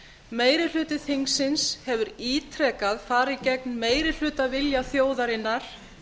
meiri hluti þingsins hefur ítrekað farið gegn meirihlutavilja þjóðarinnar